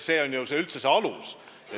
See on kõige alus.